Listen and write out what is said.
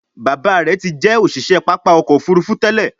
Bàbá rẹ tí jé òṣiṣẹ pápá ọkọ̀-òfurufú tèlé.